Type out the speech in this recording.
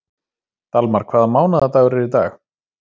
Dalmar, hvaða mánaðardagur er í dag?